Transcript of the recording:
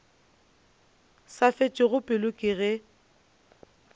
sa fetšego pelo ke ge